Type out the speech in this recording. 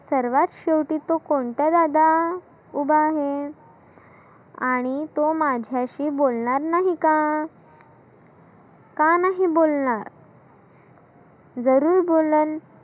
सर्वात शेवटी तु कोणता दादा उभा आहे? आणि तो माझ्याशी बोलनार नाही का? का नाही बोलणार? जरुर बोलन.